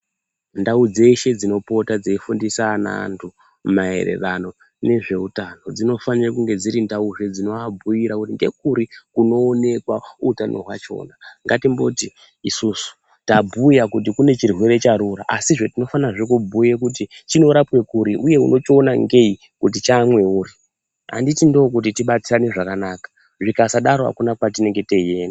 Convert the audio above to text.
Ndau dzeshe dzinopota dzeifundisana antu maererano nezveutano dzinofanire kunge dziri ndauzve dzinoabhuyira kuti ngekuri kunonekwa utano hwachona. Ngatimboti isusu tabhuya kuti kune chirwere charura, asizve tinofanirazve kubhuya kuti chinorapwe kuri, uye unochiona ngei kuti chamweuri. Handiti ndokuti tibatsirane zvakanaka? Zvikasadaro hakuna kwatinenge teienda.